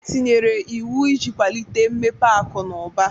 E tinyere iwu iji kwalite mmepe akụ na ụba.